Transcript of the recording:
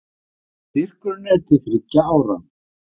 Styrkurinn er til þriggja ára